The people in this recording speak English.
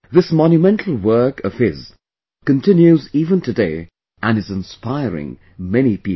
This monumental work of his continues even today and is inspiring many people